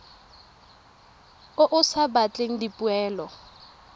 o o sa batleng dipoelo